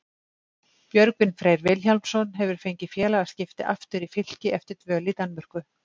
Björgvin Freyr Vilhjálmsson hefur fengið félagaskipti aftur í Fylki eftir dvöl í Danmörku.